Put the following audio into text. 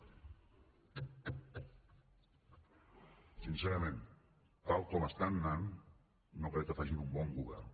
sincerament tal com estan anant no crec que facin un bon govern